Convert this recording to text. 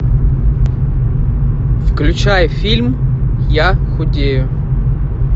включай фильм я худею